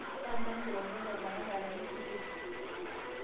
panga nkirorot o baraka aramisi teipa